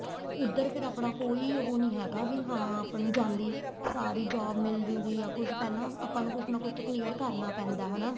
ਉੱਧਰ ਫੇਰ ਆਪਣਾ ਕੋਈ ਉਹ ਨੀਂ ਹੈਗਾ ਵੀ ਹਾਂ ਆਪਾਂ ਜਾਂਦੇ ਸਾਰ ਈ job ਮਿਲਜੂਗੀ ਜਾਂ ਕੁੱਝ ਪਹਿਲਾਂ ਆਪਾਂ ਨੂੰ ਕੁੱਝ ਨਾ ਕੁੱਝ ਤਾਂ clear ਕਰਨਾ ਪੈਂਦਾ ਹਨਾ